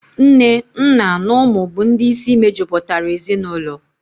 Nne, nna na ụmụ bụ ndị isi mejupụtara ezinaụlọ.